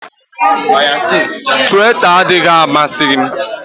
Twita adịghị amasị m